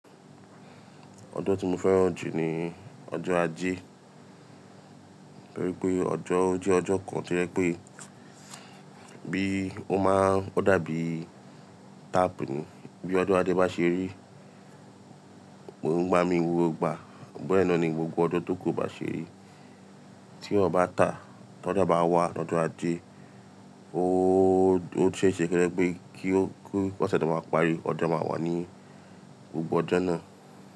Ọjọ́ tí mo fẹ́ràn jù ni ọjọ́ Ajé. Nítorí pé ọjọ́, ó jẹ́ ọjọ́ kan tí jẹ pé bí ó máa ń dàbí tap ní. Bí ọjọ́ Ajé bá ṣe rí, mo ń gbá mi wó gba. Bẹ́ẹ̀ ná ni gbogbo ọjọ́ tó kò bá ṣe rí. Tí ó bá tàá, tọ́jọ́ bá wá, lọ́jọ́ Ajé, ó ṣe é ṣe ké jè pé kí ó, kí wọ́sẹ̀ tó máa parí, ọjọ́ máa wà ní gbogbo ọjọ́ náà.